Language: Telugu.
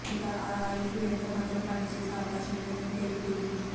ఇక ఆ హైప్ ఎంత మాత్రం పని చేసే అవకాశం లేదని తేలిపోయింది